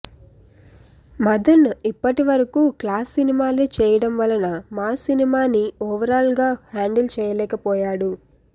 మదన్ ఇప్పటి వరకూ క్లాస్ సినిమాలే చేయడం వలన మాస్ సినిమాని ఓవరాల్ గా హాండిల్ చేయలేకపోయాడు